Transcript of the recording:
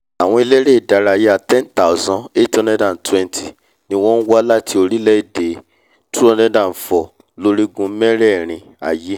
àwọn elére ìdárayá 10820 ni wọ́n wá láti orílẹ̀èdè 204 lórígun mẹ́rẹ̀rin aiyé